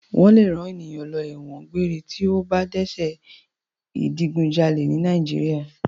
Wọ́n lè rán ènìyàn lọ ẹ̀wọ̀n gbére tí ó bá dẹ́ṣẹ̀ ìdigunjalè ní Nàìjíríà.